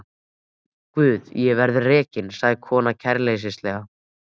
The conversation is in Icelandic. Guð ég verð rekin, sagði konan kæruleysislega.